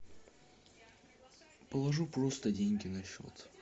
положу просто деньги на счет